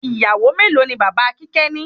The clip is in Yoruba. Ìyàwó melo ni bàbá kíkẹ́ ni?